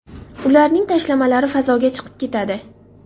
Ularning tashlamalari fazoga chiqib ketadi.